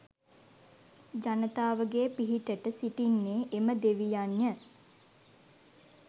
ජනතාවගේ පිහිටට සිටින්නේ එම දෙවියන්ය